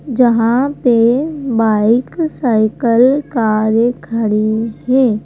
जहाँ पे bike cycle कारें खड़ी हैं।